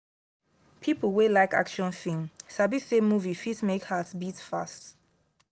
people wey like action film sabi say movie fit make heart* beat fast.